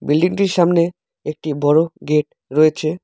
Building -টির সামনে একটি বড় গেট রয়েছে।